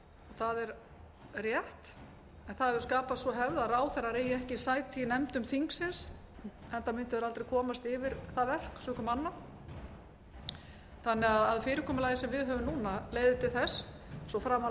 það er rétt en það hefur skapast sú hefð að ráðherrar eigi ekki sæti í nefndum þingsins enda mundu þeir aldrei komast yfir það verk sökum anna þannig að fyrirkomulagið sem við höfum núna leiðir til þess svo framarlega